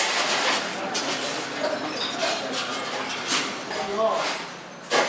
Əgər siz apararsız, qoymalısız.